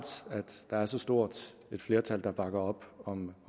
der er så stort et flertal der bakker op om